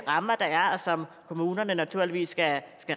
rammer der er og som kommunerne naturligvis skal